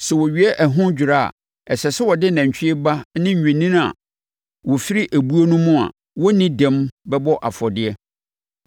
Sɛ wowie ɛho dwira a, ɛsɛ sɛ wode nantwie ba ne nnwennini a wɔfiri ebuo no mu a wɔnni dɛm bɛbɔ afɔdeɛ.